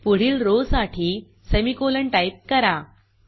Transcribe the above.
पुढील रो साठी semicolon type करा